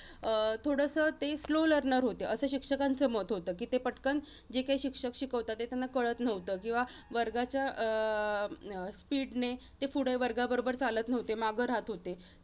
अं थोडसं ते slow learner होते. असं शिक्षकांचं मत होतं, कि ते पटकन जे काही शिक्षक शिकवतात ते त्यांना कळत नव्हतं. किंवा वर्गाच्या अं अह speed ने ते पुढे वर्गाबरोबर चालत नव्हते, मागं राहत होते.